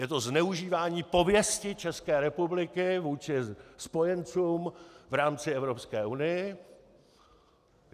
Je to zneužívání pověsti České republiky vůči spojencům v rámci Evropské unie.